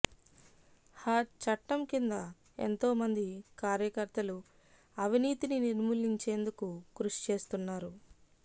హ చట్టం కింద ఎంతోమంది కార్యకర్తలు అవినీతిని నిర్మూలించేందుకు కృషి చేస్తున్నారు